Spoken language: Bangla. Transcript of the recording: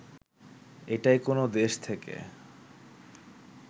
এটাই কোনো দেশ থেকে